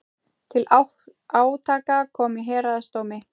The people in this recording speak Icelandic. Til átaka kom í héraðsdómi